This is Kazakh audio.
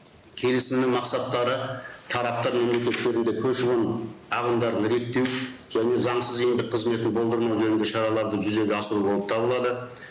келісімнің мақсаттары тараптар мемлекеттерінде көші қон ағымдарын реттеу және заңсыз еңбек қызметін болдырмау жөнінде шараларды жүзеге асыру болып табылады